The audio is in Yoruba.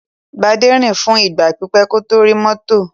Gbadé rìn fún ìgbà pípẹ́ kó tó rí mọ́tò.